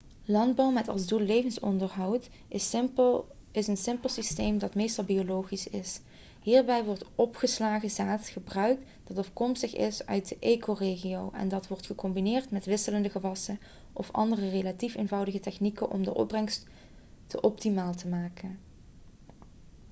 landbouw met als doel levensonderhoud is een simpel systeem dat meestal biologisch is hierbij wordt opgeslagen zaad gebruikt dat afkomstig is uit de ecoregio en dat wordt gecombineerd met wisselende gewassen of andere relatief eenvoudige technieken om de opbrengst te optimaal te maken